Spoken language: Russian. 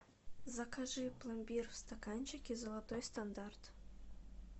закажи пломбир в стаканчике золотой стандарт